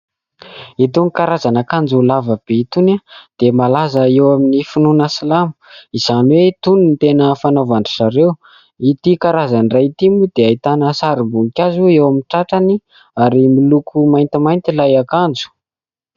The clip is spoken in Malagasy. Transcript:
Itony karazana akanjo lavabe itony dia malaza eo amin'ny finoana silamo izany hoe itony no tena fanaovandry izy ireo. Ity karazany iray ity moa dia ahitana sarim-boninkazo eo amin'ny tratrany ary miloko maintimainty ilay akanjo.